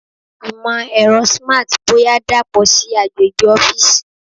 Imọ-ẹrọ Smart boya dapọ si agbegbe ọfiisi